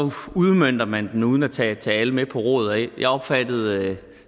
udmønter man det uden at tage tage alle med på råd jeg opfattede